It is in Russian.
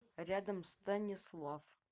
рядом станислав